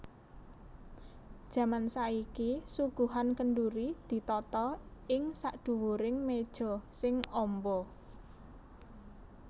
Jaman saiki suguhan kendhuri ditata ing sakdhuwuring méja sing amba